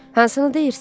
Hansını deyirsiz?